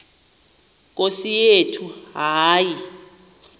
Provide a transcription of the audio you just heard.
nkosi yethu hayi